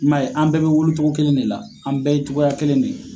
I m'a ye an bɛɛ be wolo togo kelen de la an bɛɛ ye togoya kelen de ye